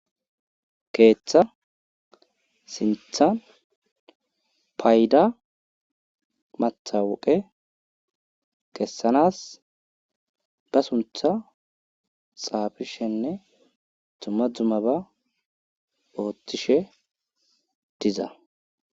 Keetha sintha payda matawuqe kessanas ba suntha xaafishenne dumma dummaba oothishe diza.